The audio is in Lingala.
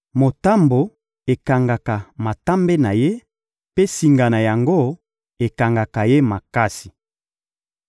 Motambo ekangaka matambe na ye, mpe singa na yango ekangaka ye makasi.